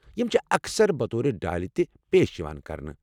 یم چھِ اکثر بطور ڈالہِ تہِ پیش یوان کرنہٕ۔